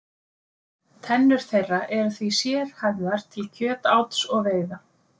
Tennur þeirra eru því sérhæfðar til kjötáts og veiða.